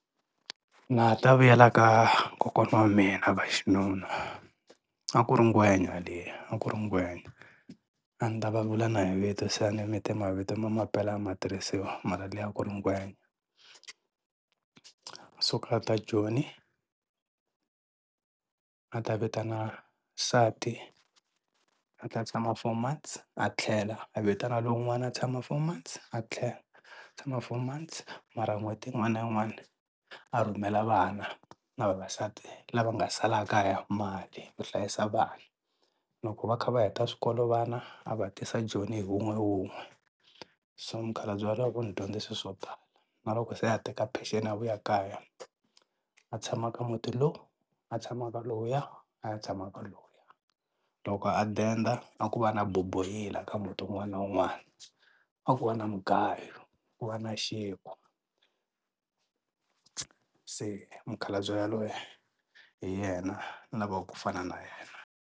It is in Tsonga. Na ha ta vuyela ka kokwana wa mina va xinuna a ku ri ngwenya liya a ku ri ngwenya a ni ta va vula na hi vito se a ni mi te mavito ma mampela a ma tirhisiwi mara liya a ku ri ngwenya, u suke a ta Joni a ta vitana nsati a ta tshama four months a tlhela, a vitana lowun'wana a tshama four months a tlhela a tshama four months mara n'hweti yin'wana na yin'wana a rhumela vana na vavasati lava nga sala kaya mali ku hlayisa vana. Loko va kha va heta swikolo vana a va tisa Joni hi wun'we wun'we so mukhalabye va lavo va ni dyondzise swo tala na loko se a teka peceni a vuya kaya a tshama ka muti lowu a tshama ka lowuya a ya tshama ka lowuya loko a denda a ku va na boboyila ka muti wun'wana na wun'wana, a ku va na mugayo ku va na xinkwa se mukhalabye yaloye hi yena ni lavaka ku fana na yena.